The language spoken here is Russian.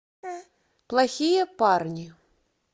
плохие парни